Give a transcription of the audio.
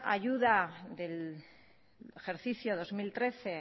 ayuda del ejercicio dos mil trece